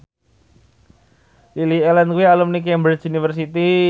Lily Allen kuwi alumni Cambridge University